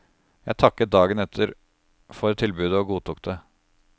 Jeg takket dagen etter for tilbudet og godtok det.